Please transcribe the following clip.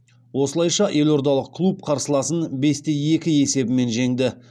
осылайша елордалық клуб қарсыласын бесте екі есебімен жеңді